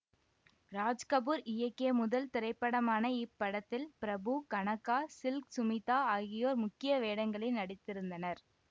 ராஜ்கபூர் இயக்கிய முதல் திரைப்படமான இப்படத்தில் பிரபு கனக்கா சில்க் சுமிதா ஆகியோர் முக்கிய வேடங்களில் நடித்திருந்தனர்